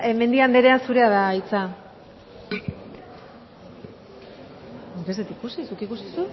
mendia andrea zurea da hitza nik ez dut ikusi zuk ikusi